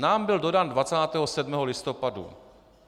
Nám byl dodán 27. listopadu.